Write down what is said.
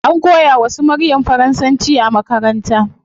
An koya wa su maryam faransanci a makaranta